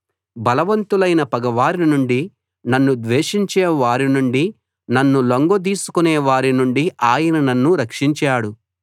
బలవంతులైన పగవారి నుండి నన్ను ద్వేషించే వారినిండి నన్ను లొంగదీసుకునే వారి నుండి ఆయన నన్ను రక్షించాడు